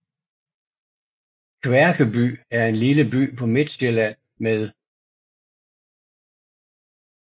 Kværkeby er en lille by på Midtsjælland med